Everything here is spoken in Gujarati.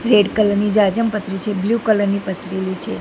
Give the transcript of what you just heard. રેડ કલર ની જાજમ પથરેલી છે બ્લુ કલર ની પથરેલી છે.